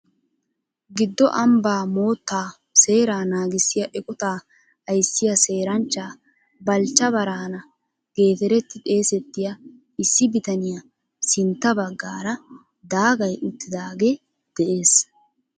Giddo Ambba mootta seera naagissiya eqqota ayssiyaa Seeranchcha Balchcha Brahana geterti xeessetiya issi bitaniyaa sintta baggaara daagay uttidaage de'ees .